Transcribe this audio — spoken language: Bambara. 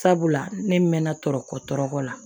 Sabula ne mɛnna tɔɔrɔ kɔ tɔɔrɔ la